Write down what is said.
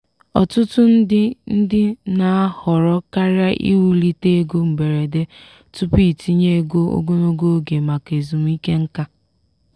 ọtụtụ ndị ndị na-ahọrọ karịa iwulite ego mberede tupu itinye ego ogologo oge maka ezumike nka.